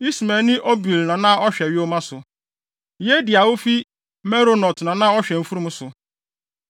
Ismaelni Obil na na ɔhwɛ yoma so. Yehdia a ofi Meronot na na ɔhwɛ mfurum so.